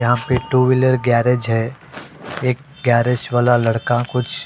यहां पे two wheeler garage है एक गैरेज वाला लड़का कुछ --